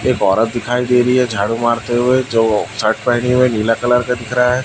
एक औरत दिखाई दे रही है झाड़ू मारते हुए जो शर्ट पहनी हुई है नीला कलर का दिख रहा है।